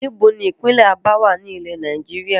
Níbo ni ìpínlẹ́ Abá wá ní ilẹ́ Nàìjíríà?